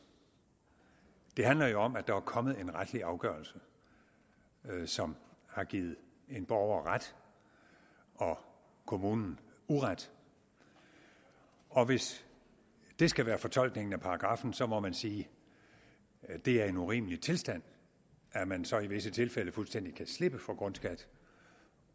det handler jo om at der er kommet en retlig afgørelse som har givet en borger ret og kommunen uret og hvis det skal være fortolkningen af paragraffen så må man sige at det er en urimelig tilstand at man så i visse tilfælde fuldstændig kan slippe for grundskat